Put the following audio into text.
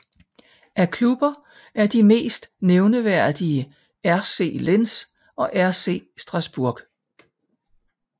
Af klubber er de mest nævneværdige RC Lens og RC Strasbourg